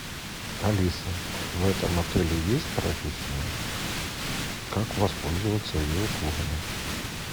алиса в этом отеле есть прачечная как воспользоваться ее услугами